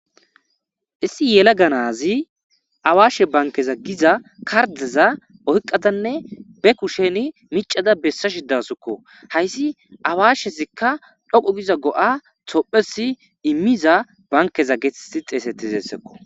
Issi yelaga nazi awaashe bankeza giza kardeza oyqadanne be kusheni micada bessa shidasokko. Hayssi awashezikka dhoqqu giza go'a tophpheyasi immiza bankeza getteti xeesetizayssakko.